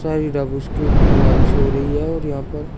दीवाल से हो रही है और यहां पर--